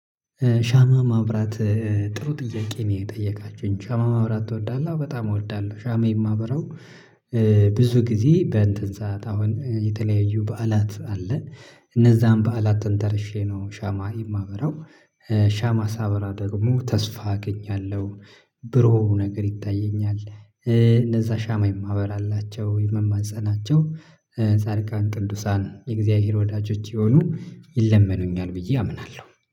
ሻማ ማብራት ጥሩ ጥያቄ ነው የጠየቃችሁኝ ሻማ ማብራት ትወዳለህ? አዎ በጣም እወዳለሁ። ሻማ የማበራው ብዙ ጊዜ በእንትን ሰዓት አሁን የተለያዩ በዓላት አለ። እነዚያን በዓላትን ተንተርሼ ነው ሻማ የማበራው። ሻማ ሳበራ ደግሞ ተስፋ አገኛለሁ። ብሩህ ነገር ይታየኛል እነዛ ሻማ የማበራላቸው የምማፀናቸው ጻድቃን ቅዱሳን የእግዚአብሔር ወዳጆች የሆኑ ይለመኑኛል ብዬ አምናለሁ